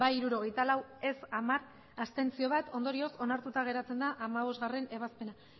bai hirurogeita lau ez hamar abstentzioak bat ondorioz onartuta geratzen da hamabostgarrena ebazpena